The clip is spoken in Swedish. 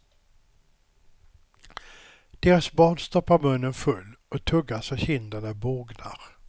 Deras barn stoppar munnen full och tuggar så kinderna bågnar.